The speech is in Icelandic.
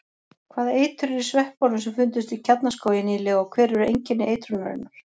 Hvaða eitur er í sveppunum sem fundust í Kjarnaskógi nýlega og hver eru einkenni eitrunarinnar?